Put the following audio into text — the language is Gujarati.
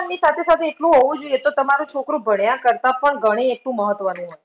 ની સાથે સાથે એટલું હોવું જોઈએ તો તમારું છોકરો ભણ્યાં કરતાં પણ ગણે એટલું મહત્વનું હોય